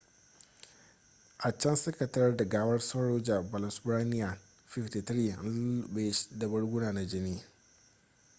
a can suka tarar da gawar saroja balasubramanian 53 an lulluɓe da barguna na jini